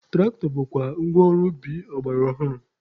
Tụraktọ bụkwa ngwa ọrụ ubi ọgbara ọhụrụ.